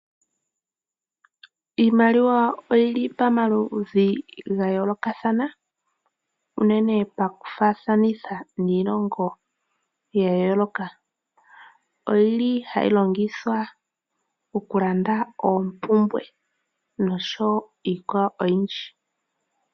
Iimaliwa oyili pomaludhi ga yoolokathana unene pakufaathanitha niilongo ya yooloka ,oyili hayi longithwa okulanda oompumbwe noshowo iikwawo oyindji.